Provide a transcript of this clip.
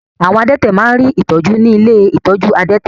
Àwọn adẹ́tẹ̀ má rí ìtọ́jú ní ilé ìtọ́jú adẹ́tẹ̀.